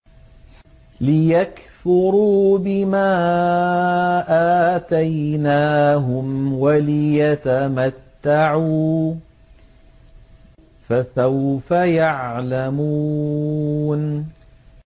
لِيَكْفُرُوا بِمَا آتَيْنَاهُمْ وَلِيَتَمَتَّعُوا ۖ فَسَوْفَ يَعْلَمُونَ